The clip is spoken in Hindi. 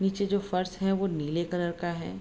नीचे जो फर्श हैं वो नीले कलर का है।